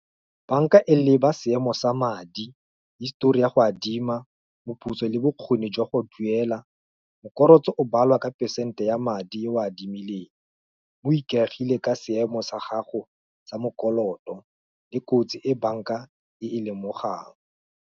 Banka e leba seemo sa madi, history ya go adima, moputso, le bokgoni jwa go duela. Mokorotso o balwa ka percent-e ya madi a o adimileng, o ikagile ka seemo sa gago, sa mo mokoloto, le kotsi e banka e lemogang.